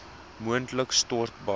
moontlik stort bad